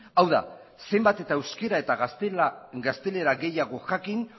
hau da zenbat eta euskara eta gaztelera gehiago jakin